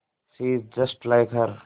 she is just like her